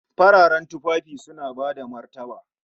Fararen tufafi suna bada martaba